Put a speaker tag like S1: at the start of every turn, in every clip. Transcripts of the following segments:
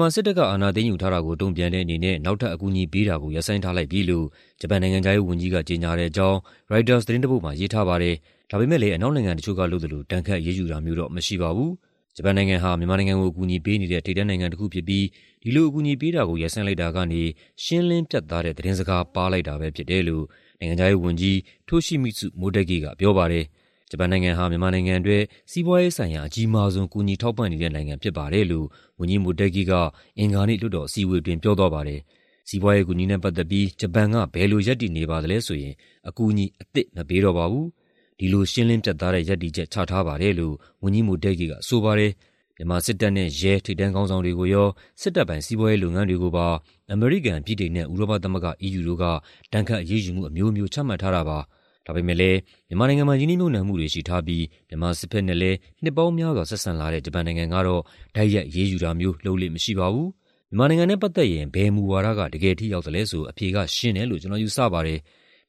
S1: မှာ စစ်တပ်က အာဏာသိမ်းယူထားတာကို တုံ့ပြန်တဲ့အနေနဲ့ နောက်ထပ်အကူအညီပေးတာကို ရပ်ဆိုင်းထားလိုက်ပြီလို့ ဂျပန်နိုင်ငံခြားရေးဝန်ကြီးက ကြေညာတဲ့အကြောင်း ရိုက်တာသတင်းတပုဒ်မှာ ရေးထားပါတယ်။ ဒါပေမယ့်လည်း အနောက်နိုင်ငံတချို့ကလုပ်သလို ဒဏ်ခတ်အရေးယူတာမျိုးတော့ မရှိပါဘူး။ ဂျပန်နိုင်ငံဟာ မြန်မာနိုင်ငံကို အကူအညီပေးနေတဲ့ ထိပ်တန်းနိုင်ငံတစ်ခုဖြစ်ပြီး ဒီလိုအကူအညီပေးတာကို ရပ်ဆိုင်းလိုက်တာကနေ "ရှင်းလင်းပြတ်သား" တဲ့ သတင်းစကား ပါးလိုက်တာပဲဖြစ်တယ်လို့ နိုင်ငံခြားရေးဝန်ကြီး Toshimitsu Motegi ကပြောပါတယ်။ "ဂျပန်နိုင်ငံဟာ မြန်မာနိုင်ငံအတွက် စီးပွားရေးဆိုင်ရာ အကြီးမားဆုံး ကူညီထောက်ပံ့နေတဲ့နိုင်ငံဖြစ်ပါတယ်" လို့ ဝန်ကြီး Motegi က အင်္ဂါနေ့ လွှတ်တော်အစည်းအဝေးအတွင်း ပြောသွားပါတယ်။ "စီးပွားရေးအကူအညီနဲ့ ပတ်သက်ပြီး ဂျပန်က ဘယ်လိုရပ်တည်နေပါသလဲဆိုရင် အကူအညီအသစ် မပေးတော့ပါဘူး။ ဒီလို ရှင်းလင်းပြတ်သားတဲ့ ရပ်တည်ချက် ချထားပါတယ်" လို့ ဝန်ကြီး Motegi ကဆိုပါတယ်။ မြန်မာစစ်တပ်နဲ့ရဲ ထိပ်တန်းခေါင်းဆောင်တွေကိုရော၊ စစ်တပ်ပိုင် စီးပွားရေးလုပ်ငန်းတွေကိုပါ အမေရိကန်၊ ဗြိတိန်နဲ့ ဥရောပသမဂ္ဂ (EU) တို့က ဒဏ်ခတ်အရေးယူမှုအမျိုးမျိုး ချမှတ်ထားတာပါ။ ဒါပေမယ့်လည်း မြန်မာနိုင်ငံမှာ ရင်းနှီးမြှုပ်နှံမှုတွေရှိထားပြီး မြန်မာစစ်ဘက်နဲ့လည်း နှစ်ပေါင်းများစွာ ဆက်ဆံလာတဲ့ ဂျပန်နိုင်ငံကတော့ တိုက်ရိုက် အရေးယူတာမျိုး လုပ်လေ့မရှိပါဘူး။ " မြန်မာနိုင်ငံနဲ့ပတ်သက်ရင် ဘယ်မူဝါဒက တကယ်ထိရောက်သလဲဆို အဖြေကရှင်းတယ်လို့ ကျနော်ယူဆပါတယ်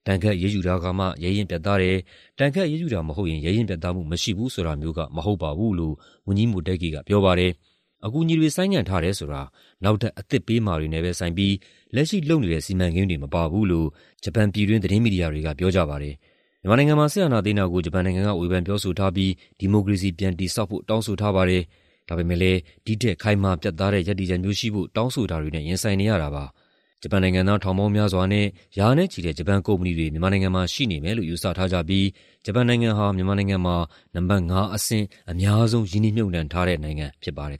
S1: ။ ဒဏ်ခတ်အရေးယူတာကမှ ရဲရင့်ပြတ်သားတယ်၊ ဒဏ်ခတ်အရေးယူတာမဟုတ်ရင် ရဲရင့်ပြတ်သားမှုမရှိဘူး ဆိုတာမျိုးက မဟုတ်ပါဘူး" လို့ ဝန်ကြီး Motegi ကပြောပါတယ်။ အကူအညီတွေ ဆိုင်းငံ့ထားတယ်ဆိုတာ နောက်ထပ် အသစ်ပေးမှာတွေနဲ့ပဲဆိုင်ပြီး လက်ရှိလုပ်နေတဲ့ စီမံကိန်းတွေမပါဘူးလို့ ဂျပန်ပြည်တွင်း သတင်းမီဒီယာတွေက ပြောပါတယ်။ မြန်မာနိုင်ငံမှာ စစ်အာဏာသိမ်းတာကို ဂျပန်နိုင်ငံက ဝေဖန်ပြောဆိုထားပြီး ဒီမိုကရေစီ ပြန်တည်ဆောက်ဖို့ တောင်းဆိုထားပါတယ်။ ဒါပေမယ့်လည်း ဒီ့ထက်ခိုင်မာပြတ်သားတဲ့ ရပ်တည်ချက်မျိုးရှိဖို့ တောင်းဆိုတာတွေနဲ့ ရင်ဆိုင်နေရတာပါ။ ဂျပန်နိုင်ငံသား ထောင်ပေါင်းများစွာနဲ့ ရာနဲ့ချီတဲ့ ဂျပန်ကုမ္ပဏီတွေ မြန်မာနိုင်ငံမှာ ရှိနေမယ်လို့ ယူဆထားကြပြီး ဂျပန်နိုင်ငံဟာ မြန်မာနိုင်ငံမှာ နံပါတ် ၅ အဆင့် အများဆုံး ရင်းနှီးမြှုပ်နှံထားတဲ့နိုင်ငံဖြစ်ပါတယ်